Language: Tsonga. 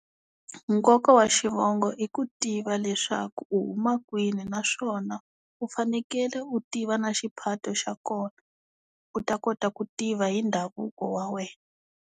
Nkoka wa xivongo i ku tiva leswaku u huma kwini naswona u fanekele u tiva na xiphato xa kona u ta kota ku tiva hi ndhavuko wa wena.